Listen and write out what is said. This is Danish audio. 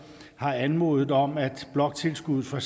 har anmodet om at bloktilskuddet for